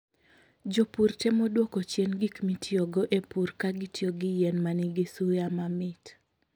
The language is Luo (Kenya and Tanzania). Jopur temo dwoko chien gik mitiyogo e pur ka gitiyo gi yien ma nigi suya mamit.